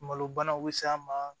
Malo banaw be s'a ma